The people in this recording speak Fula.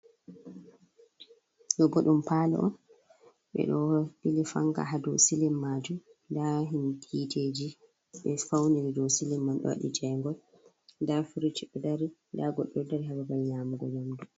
Ɗo bo ɗum paalo on ɓe ɗo ɓili fanga ha dou silim maju m nda hiiteji ɓe fauniri dou silim mai ɗo waɗi jaingol nda firij o dari nda goɗɗo ɗo dari ha babal nyamugo nyamdu.